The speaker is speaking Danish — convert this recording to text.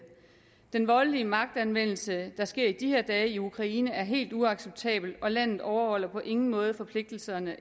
den voldelige magtanvendelse der sker i de her dage i ukraine er helt uacceptabel og landet overholder på ingen måde forpligtelserne